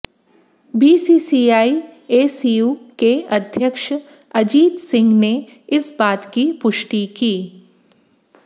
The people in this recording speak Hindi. बीसीसीआई एसीयू के अध्यक्ष अजीत सिंह ने इस बात की पुष्टि की